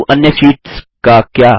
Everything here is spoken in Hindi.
किन्तु अन्य शीट्स का क्या